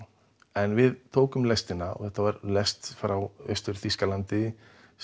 en við tókum lestina og þetta var lest frá Austur Þýskalandi